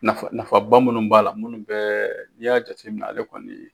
Nafa nafaba minnu b'a la, minnu bɛɛ n'i y'a jateminɛ ale kɔni